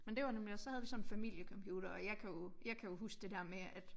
Men det nemlig også så havde vi sådan en familiecomputer og jeg kan jo jeg kan jo huske det der med at